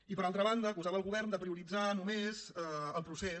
i per altra banda acusava el govern de prioritzar només el procés